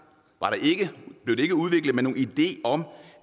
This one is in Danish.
blev det ikke udviklet med nogen idé om